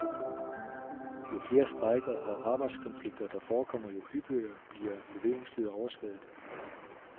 Jo flere strejker og arbejdskonflikter, der forekommer, jo hyppigere bliver leveringstider overskredet.